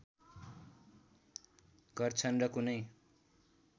गर्छन् र कुनै